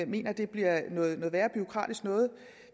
mener at det bliver noget værre bureaukratisk noget